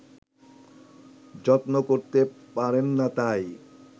যত্ন করতে পারেন না তাই